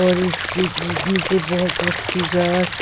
और इसकी नीचे बहुत अच्छी गास--